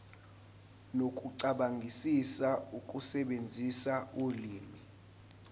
nokucabangisisa ukusebenzisa ulimi